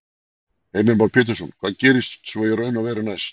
Heimir Már Pétursson: Hvað gerist svo í raun og veru næst?